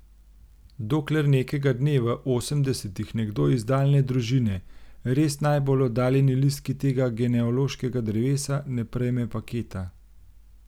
Dokler nekega dne v osemdesetih nekdo iz daljne družine, res najbolj oddaljeni listki tega genealoškega drevesa, ne prejme paketa.